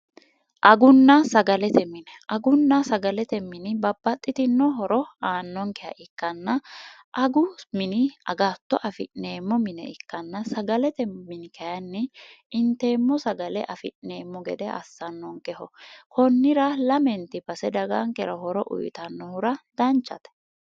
agunnaa sagalete mine agunna sagalete mini babbaxxitino horo aannonkeha ikkanna agu mini agatto afi'neemmo mine ikkanna sagalete mini kayinni inteemmo sagale afi'neemmo gede assannonkeho kunnira lamenti pase dagaankera horo uyyitannohura danchate